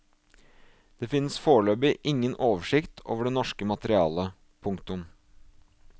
Det finnes foreløpig ingen oversikt over det norske materiale. punktum